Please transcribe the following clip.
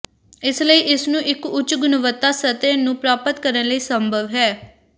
ਇਸ ਲਈ ਇਸ ਨੂੰ ਇੱਕ ਉੱਚ ਗੁਣਵੱਤਾ ਸਤਹ ਨੂੰ ਪ੍ਰਾਪਤ ਕਰਨ ਲਈ ਸੰਭਵ ਹੈ